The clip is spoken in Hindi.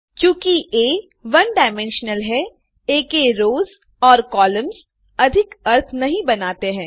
चूँकि आ वन डायमेंशनल है आ के रोस और कॉलम्स अधिक अर्थ नहीं बनाते हैं